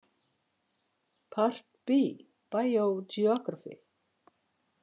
Part B Biogeography.